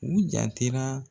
U jantera